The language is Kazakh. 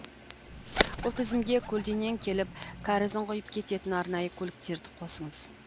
бұл тізімге көлденең келіп кәрізін құйып кететін арнайы көліктерді қосыңыз